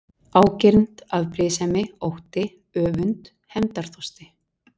Ágirnd, afbrýðisemi, ótti, öfund, hefndarþorsti?